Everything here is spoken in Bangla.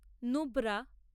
নুব্রা